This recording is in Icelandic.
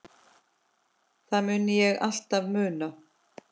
Það mun ég alltaf muna.